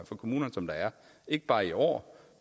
for kommunerne som der er ikke bare i år